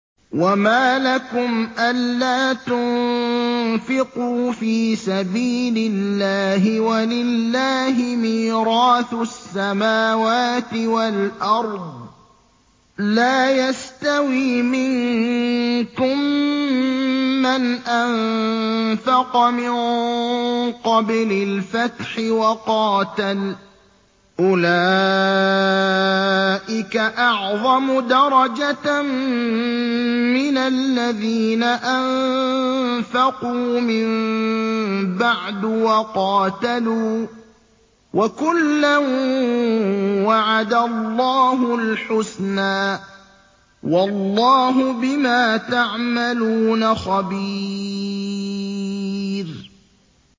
وَمَا لَكُمْ أَلَّا تُنفِقُوا فِي سَبِيلِ اللَّهِ وَلِلَّهِ مِيرَاثُ السَّمَاوَاتِ وَالْأَرْضِ ۚ لَا يَسْتَوِي مِنكُم مَّنْ أَنفَقَ مِن قَبْلِ الْفَتْحِ وَقَاتَلَ ۚ أُولَٰئِكَ أَعْظَمُ دَرَجَةً مِّنَ الَّذِينَ أَنفَقُوا مِن بَعْدُ وَقَاتَلُوا ۚ وَكُلًّا وَعَدَ اللَّهُ الْحُسْنَىٰ ۚ وَاللَّهُ بِمَا تَعْمَلُونَ خَبِيرٌ